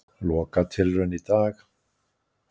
Lokatilraun í dag